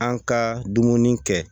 An ka dumuni kɛ